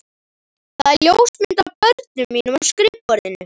Það er ljósmynd af börnum mínum á skrifborðinu.